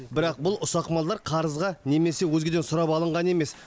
бірақ бұл ұсақ малдар қарызға немесе өзгеден сұрап алынған емес